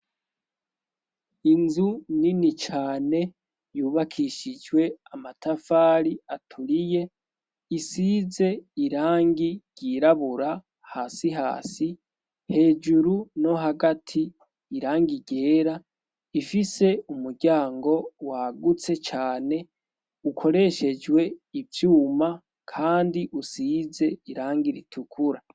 Inzu nini cane yubakishijwe amatafari aturiye. Isize irangi ryirabura hasi, hejuru no hagati irangi ryera. Ifise umuryango wagutse cane ukoreshejwe ivyuma kandi usize irangi ritukura.